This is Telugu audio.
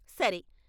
సరే!